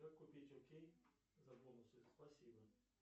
как купить окей за бонусы спасибо